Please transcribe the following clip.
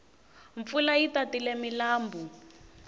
mpfula yi tatile milambu